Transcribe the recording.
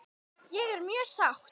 Ég er mjög sátt.